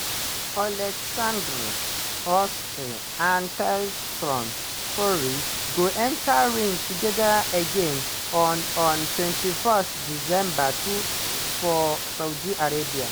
oleksandr usyk and tyson fury go enta ring togeda again on on 21 december to for saudi arabia.